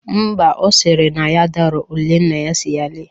Mba, ọ sịrị na ya adaghọ ule nna ya sịrị ya lele